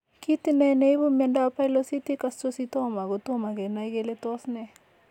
Kit ine ne ipu miondap pilocytic astrocytoma? Kotomo kenai kele tos ne.